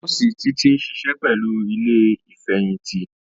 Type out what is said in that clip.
Nọọsi Títí ń ṣiṣẹ́ pẹ̀lú ilé Ìfẹ̀yìntì